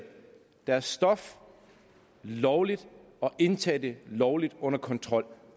deres stof lovligt og indtage det lovligt under kontrol